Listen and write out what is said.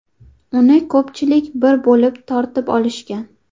Uni ko‘pchilik bir bo‘lib tortib olishgan.